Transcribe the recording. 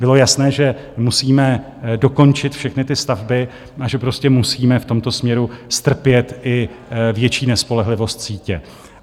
Bylo jasné, že musíme dokončit všechny ty stavby a že prostě musíme v tomto směru strpět i větší nespolehlivost sítě.